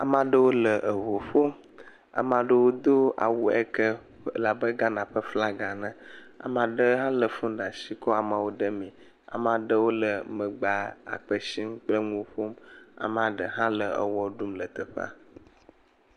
Ame aɖewo le ŋu ƒom. Ame aɖewo do awu yi le abe Ghana ƒe flaga ene. Ame aɖe hã le phone ɖe asi kɔ le wo ɖem me. Ame aɖewo le megbea akpe sim kple le nu wo ƒom. Ame aɖe hã le ewɔ ɖum le teƒea.